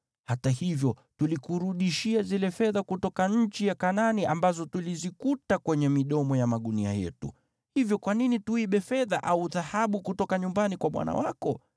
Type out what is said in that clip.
Hata hivyo tulikurudishia zile fedha kutoka nchi ya Kanaani ambazo tulizikuta kwenye midomo ya magunia yetu. Hivyo kwa nini tuibe fedha au dhahabu kutoka nyumbani kwa bwana wako?